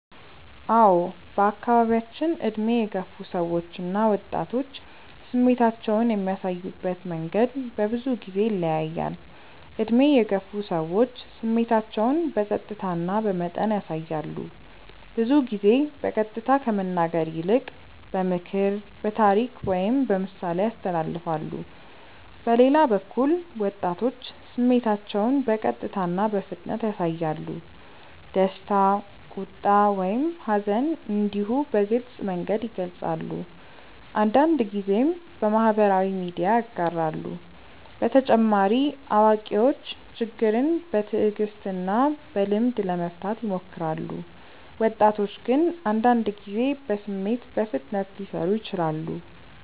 አዎ በአካባቢያችን ዕድሜ የገፉ ሰዎች እና ወጣቶች ስሜታቸውን የሚያሳዩበት መንገድ በብዙ ጊዜ ይለያያል። ዕድሜ የገፉ ሰዎች ስሜታቸውን በጸጥታ እና በመጠን ያሳያሉ። ብዙ ጊዜ በቀጥታ ከመናገር ይልቅ በምክር፣ በታሪክ ወይም በምሳሌ ያስተላልፋሉ። በሌላ በኩል ወጣቶች ስሜታቸውን በቀጥታ እና በፍጥነት ያሳያሉ። ደስታ፣ ቁጣ ወይም ሐዘን እንዲሁ በግልጽ መንገድ ይገልጻሉ፤ አንዳንድ ጊዜም በማህበራዊ ሚዲያ ያጋራሉ። በተጨማሪ አዋቂዎች ችግርን በትዕግስት እና በልምድ ለመፍታት ይሞክራሉ፣ ወጣቶች ግን አንዳንድ ጊዜ በስሜት በፍጥነት ሊሰሩ ይችላሉ።